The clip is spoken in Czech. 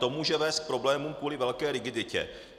To může vést k problémům kvůli velké rigiditě.